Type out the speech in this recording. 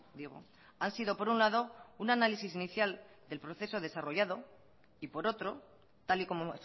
digo han sido por un lado un análisis inicial del proceso desarrollado y por otro tal y como